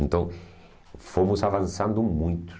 Então, fomos avançando muito.